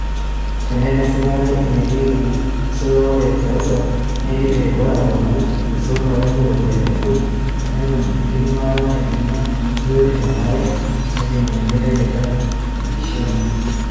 "Tenaa enesipata irekei osotunyiaki kode te seuseu, neidim erikore atoponai esotunoto enye o ropiyiani e kodi netum enkidimata naidimia biotisho nanare neitingia olmeitai neiteru olkishiune."